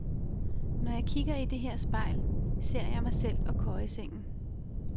Når jeg kigger i dét her spejl, ser jeg mig selv og køjesengen.